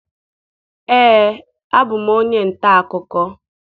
Ee, abụ m onye nta akụkọ.